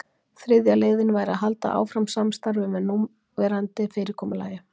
þriðja leiðin væri að halda áfram samstarfi með núverandi fyrirkomulagi